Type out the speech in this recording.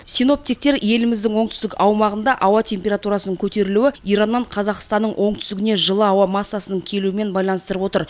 синоптиктер еліміздің оңтүстік аумағында ауа температурасының көтерілуі ираннан қазақстанның оңтүстігіне жылы ауа массасының келуімен байланыстырып отыр